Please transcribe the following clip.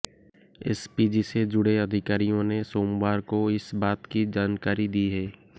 SPG से जुड़े अधिकारियों ने सोमवार को इस बात की जानकारी दी है